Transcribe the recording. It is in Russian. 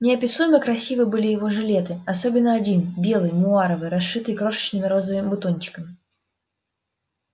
неописуемо красивы были и его жилеты особенно один белый муаровый расшитый крошечными розовыми бутончиками